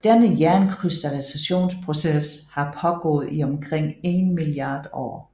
Denne jernkrystallisationsproces har pågået i omkring en milliard år